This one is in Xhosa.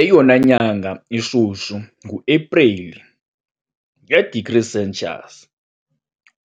Eyona nyanga ishushu nguAprili, nge-degrees Celsius,